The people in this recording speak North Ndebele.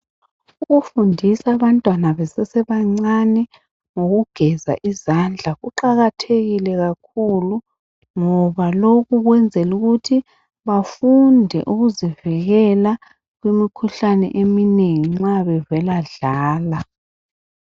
Ukufundisa abantwana besesebencane ngokugeza izandla kuqakathekile kakhulu ngoba lokhu ukwenzela ukuthi bafunde ukuzivikela imikhuhlane eminengi nxa bevela dlala.